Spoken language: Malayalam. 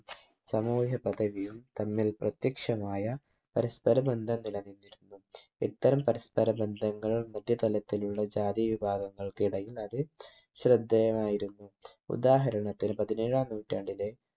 സമൂഹ്യ പധവിയും തമ്മിൽ പ്രത്യക്ഷമായ പരസ്പര ബന്ധം നില നിന്നിരുന്നു ഇത്തരം പരസ്പര ബന്ധങ്ങൾ മുന്തിയ തലത്തിലുള്ള ജാതീവിഭാഗങ്ങൾക്കിടയിൽ അത് ശ്രദ്ധേയമായിരുന്നു ഉദാഹരണത്തിന് പതിനേഴാം നൂറ്റാണ്ടിലെ